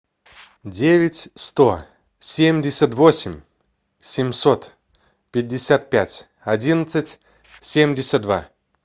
девять сто семьдесят восемь семьсот пятьдесят пять одиннадцать семьдесят два